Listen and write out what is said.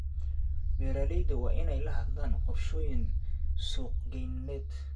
Beeralayda waa inay lahaadaan qorshooyin suuqgeyneed.